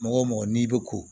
Mɔgɔ o mɔgɔ n'i bɛ ko